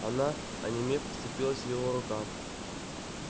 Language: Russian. она онемев вцепилась в его рукав